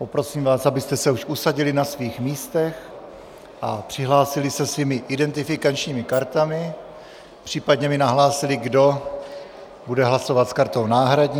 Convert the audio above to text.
Poprosím vás, abyste se už usadili na svých místech a přihlásili se svými identifikačními kartami, případně mi nahlásili, kdo bude hlasovat s kartou náhradní.